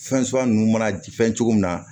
Fɛn suguya ninnu mana ji fɛn cogo min na